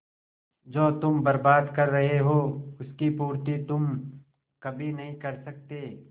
जो तुम बर्बाद कर रहे हो उसकी पूर्ति तुम कभी नहीं कर सकते